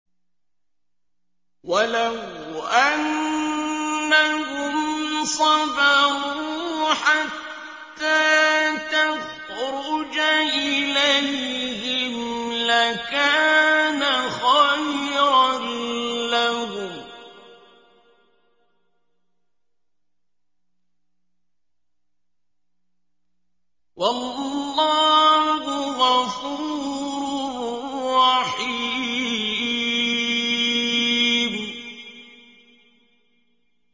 وَلَوْ أَنَّهُمْ صَبَرُوا حَتَّىٰ تَخْرُجَ إِلَيْهِمْ لَكَانَ خَيْرًا لَّهُمْ ۚ وَاللَّهُ غَفُورٌ رَّحِيمٌ